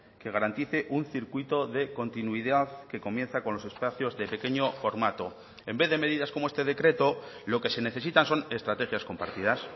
que garantice un circuito de continuidad que comienza con los espacios de pequeño formato en vez de medidas como este decreto lo que se necesitan son estrategias compartidas